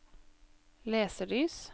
leselys